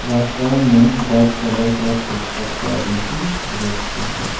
रास्ता में white colour का पिक अप गाड़ी भी रोक के है।